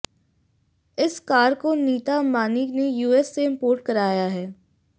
इस कार को नीता अम्बानी ने यूएसए से इम्पोर्ट कराया है